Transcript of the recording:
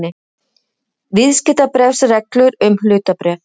Viðskiptabréfsreglur um hlutabréf.